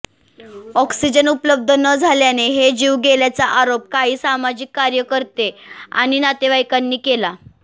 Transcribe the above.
oxygen उपलब्ध न झाल्याने हे जीव गेल्याचा आरोप काही सामाजिक कार्यकर्ते आणि नातेवाइकांनी केला